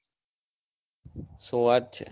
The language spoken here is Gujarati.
શું વાત છે!